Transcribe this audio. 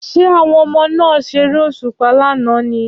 Ṣé àwọn ọmọdé náà ṣeré òṣùpá lánàá ni?